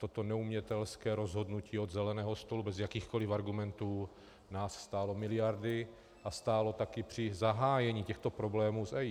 Toto neumětelské rozhodnutí od zeleného stolu bez jakýchkoli argumentů nás stálo miliardy a stálo taky při zahájení těchto problémů s EIA.